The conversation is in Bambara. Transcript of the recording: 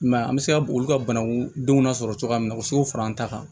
I m'a ye an be se ka olu ka banakundenw lasɔrɔ cogoya munna u be se k'o fara an ta kan